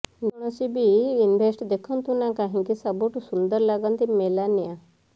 ଯେ କୌଣସି ବି ଇଭେଣ୍ଟ ଦେଖନ୍ତୁ ନା କାହିଁକି ସବୁଠି ସୁନ୍ଦର ଲାଗନ୍ତି ମେଲାନିଆ